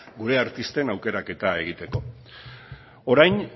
gure artisten aukeraketa egiteko orain